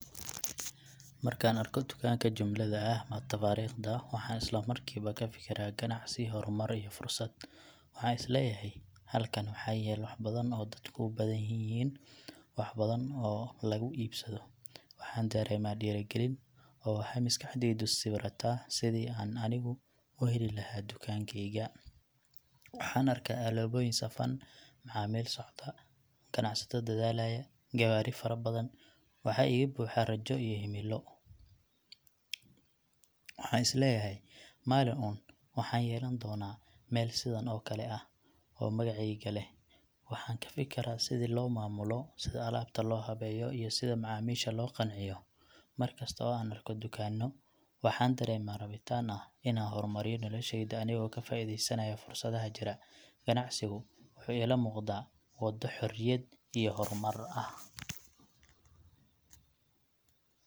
Markaan arko tukaanka jumlada ah ama tafaariiqda, waxaan isla markiiba ka fikiraa ganacsi, horumar iyo fursad. Waxaan is leeyahay, Halkan waxaa yaal wax badan oo dadku u badann yihiin, wax badan oo lagu iibasbado. Waxaan dareemaa dhiirigelin, oo waxaa maskaxdayda sawirataa sidii aan anigu u heli lahaa dukaankayga. Waxaan arkaa alaabooyin safan, macaamiil socda, ganacsato dadaalaya, gawaari fara badan . Waxa iga buuxa rajo iyo himilo. Waxaan is leeyahay, Maalin un waxaan yeelan doonaa meel sidan oo kale ah, oo magacayga leh. Waxaan ka fikiraa sida loo maamulo, sida alaabta loo habeeyo, iyo sida macaamiisha loo qanciyo. Markasto oo aan arko dukaanno, waxaan dareemaa rabitaan ah inaan hormariyo noloshayda anigoo ka faa'iidaysanaya fursadaha jira. Ganacsigu wuxuu ila muuqdaa waddo xorriyad iyo horumar ah.